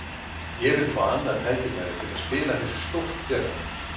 Ég vil fá annað tækifæri til að spila fyrir stórt félag.